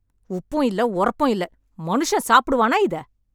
உப்பும் இல்லை, ஓரப்பும் இல்லை. மனுஷன் சாப்புடுவான இத?